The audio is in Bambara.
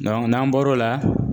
n'an bɔr'o la